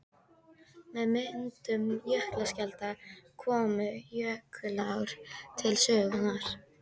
Með myndun jökulskjalda komu og jökulár til sögunnar.